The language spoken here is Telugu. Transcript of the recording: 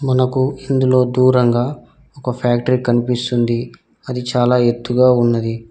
మనకు ఇందులో దూరంగా ఒక ఫ్యాక్టరీ కనిపిస్తుంది అది చాలా ఎత్తుగా ఉన్నది.